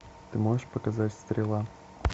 ты можешь показать стрела